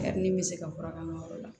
Kadi n bɛ se ka fura k'an ka yɔrɔ la